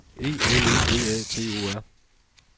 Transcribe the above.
E L E V A T O R